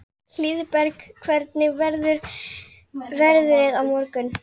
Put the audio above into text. Hlíðberg, hvernig verður veðrið á morgun?